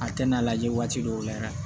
A tɛ n'a lajɛ waati dɔw la yɛrɛ